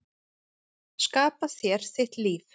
Skapa þér þitt líf.